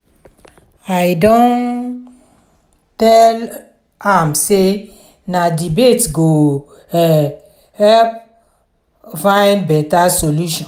i don tell am sey na debate go um help find beta solution.